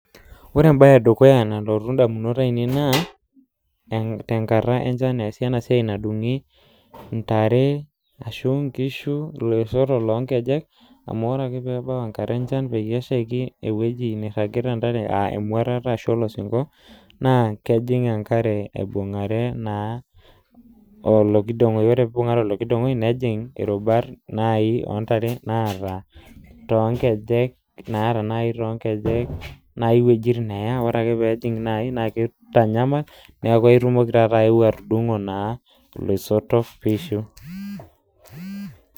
Ore embae edukuya nalotu ndamunot ainei naa tenkata enchan easi enasiai nadungi ntare ashu nkishu iloisotok lonkejek amu ore ake pebau enkata enchan peyie eshaiki ewueji nairagita ntare aa emuatata ashu olosinko naa kejing enkare aibungare olokidongoi nejing irubat ontare naata nai toonkejek naa kitanyamal naa aitumoki nai ae atudungo naa iloisotok pishu.